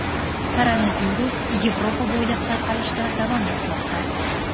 Koronavirus Yevropa bo‘ylab tarqalishda davom etmoqda.